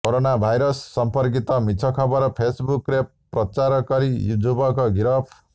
corona virus ସଂପର୍କିତ ମିଛ ଖବର ଫେସ୍ବୁକ୍ରେ ପ୍ରଚାରକରି ର୍ଯୁବକ ଗିରଫ